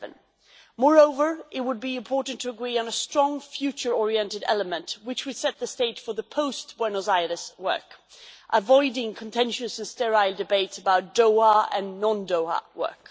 11. Moreover, it would be important to agree on a strong future orientated element which would set the stage for the post Buenos Aires work avoiding contentious and sterile debates about Doha Joe and non Doha work.